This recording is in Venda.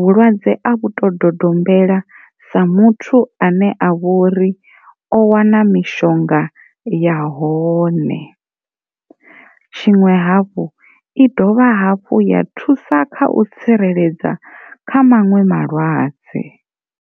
vhulwadze a vhu to dodombela sa muthu ane a vho ri o wana mishonga ya hone, tshiṅwe hafhu i dovha hafhu ya thusa kha u tsireledza maṅwe malwadze.